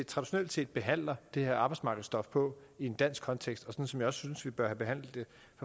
traditionelt set behandler det her arbejdsmarkedstof på i en dansk kontekst og som jeg også synes vi bør behandle det